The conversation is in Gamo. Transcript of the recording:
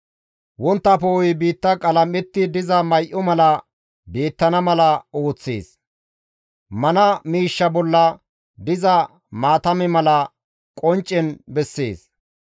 Wontta poo7oy biitta qalam7etti diza may7o mala beettana mala ooththees; mana miishsha bolla diza maatame mala qonccen bessees.